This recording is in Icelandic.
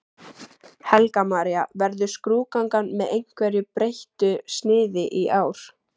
Helga María: Verður skrúðgangan með einhverju breyttu sniði í ár?